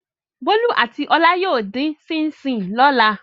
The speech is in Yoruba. Bólú àti Ọlá yóò dín ṣíín-ṣiìn lọ́la.